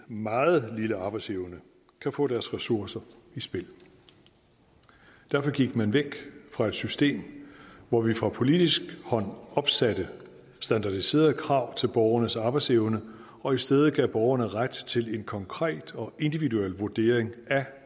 meget lille arbejdsevne kan få deres ressourcer i spil derfor gik man væk fra et system hvor vi fra politisk hold opsatte standardiserede krav til borgernes arbejdsevne og i stedet gav man borgerne ret til en konkret og individuel vurdering af